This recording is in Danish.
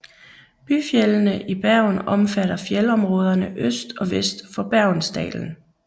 Byfjeldene i Bergen omfatter fjeldområderne øst og vest for Bergensdalen